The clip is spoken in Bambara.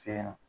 Fɛɲɛna